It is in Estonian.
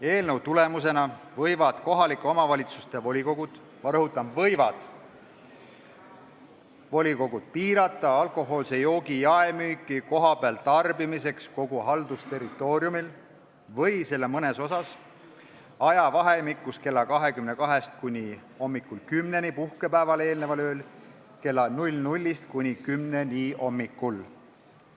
Eelnõu tulemusena võivad kohaliku omavalitsuse volikogud – ma rõhutan: võivad volikogud – piirata alkohoolse joogi jaemüüki kohapeal tarbimiseks kogu haldusterritooriumil või selle mõnes osas ajavahemikus kella 22-st kuni hommikul 10-ni, puhkepäevale eelneval ööl kella 00-st kuni 10-ni hommikul.